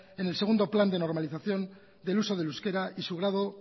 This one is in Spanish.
en el segundo plan de normalización del uso del euskera y su grado